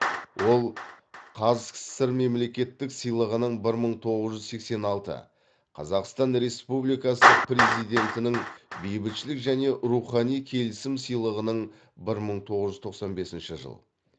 ол қазсср мемлекеттік сыйлығының бір мың тоғыз жүз сексен алты қазақстан республикасы президентінің бейбітшілік және рухани келісім сыйлығының бір мың тоғыз жүз тоқсан бесінші жылы